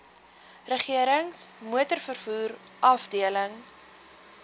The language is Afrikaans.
regerings motorvervoer afdeling